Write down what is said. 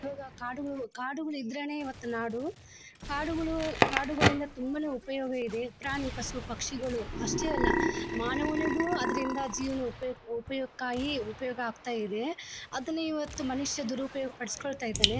ಇವಾಗ ಕಾಡುಗಳು ಕಾಡುಗಳು ಇದ್ರೇನೆ ಇವತ್ತು ನಾಡು ಕಾಡುಗಳು ಕಾಡುಗಳಿಂದ ತುಂಬಾನೇ ಉಪಯೋಗ ಇದೆ. ಪ್ರಾಣಿ ಪಶು ಪಕ್ಷಿಗಳು ಅಷ್ಟೇ ಅಲ್ಲ ಮಾನವನಿಗೂ ಅದರಿಂದ ಜೇವನಕ್ಕೆ ಉಪಯೋಗಕ್ಕಾಗಿ ಉಪಯೋಗ ಆಗ್ತಾ ಇದೆ. ಅದನ್ನ ಮನುಷ್ಯ ದುರುಪಯೋಗ ಪಡ್ಸ್ಕೊತಾ ಇದಾನೆ.